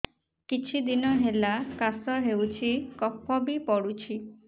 କିଛି ଦିନହେଲା କାଶ ହେଉଛି କଫ ବି ପଡୁଛି